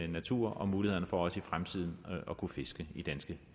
naturen og muligheden for også i fremtiden at kunne fiske i danske